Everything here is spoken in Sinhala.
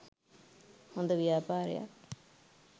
හොද ව්‍යාපාරයක්